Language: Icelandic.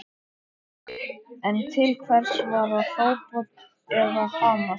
En til hvers var að hrópa eða hamast?